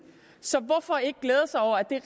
så hvorfor ikke glæde sig over at det